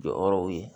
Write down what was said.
Jɔyɔrɔw ye